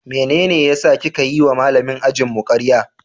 Mene ya saka kika yiwa Malamin ajinmu karya?